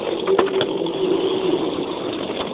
то если у неё есть